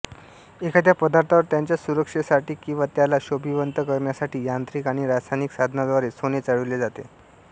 एखाद्या पदार्थावर त्याच्या सुरक्षेसाठी किंवा त्याला शोभिवंत करण्यासाठी यांत्रिक आणि रासायनिक साधनांद्वारे सोने चढ़विले जाते